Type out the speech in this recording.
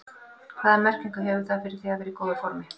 Hvaða merkingu hefur það fyrir þig að vera í góðu formi?